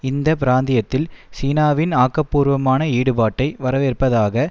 இந்த பிராந்தியத்தில் சீனாவின் ஆக்கபூர்வமான ஈடுபாட்டை வரவேற்பதாக